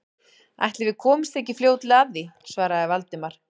Ætli við komumst ekki fljótlega að því- svaraði Valdimar.